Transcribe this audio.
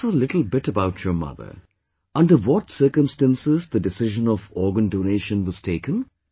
Tell us a little bit about your mother, under what circumstances the decision of organ donation was taken